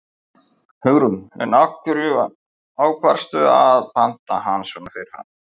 Hugrún: En af hverju ákvaðstu að panta hann svona fyrirfram?